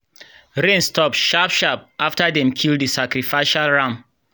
rain stop sharp-sharp after dem kill the sacrificial ram.